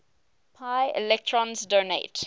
pi electrons donate